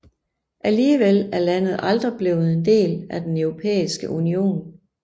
Alligevel er landet aldrig blevet en del af den Europæiske Union